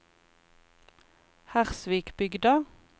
Hersvikbygda